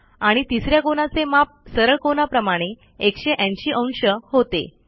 आणि तिस या कोनाचे माप सरळ कोनाप्रमाणे 180 अंश होते